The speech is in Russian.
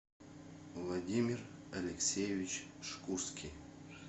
владимир алексеевич шкурский